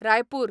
Raipur